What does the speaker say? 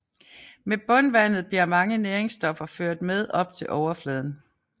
Med bundvandet bliver mange næringsstoffer ført med op til overfladen